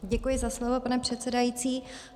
Děkuji za slovo, pane předsedající.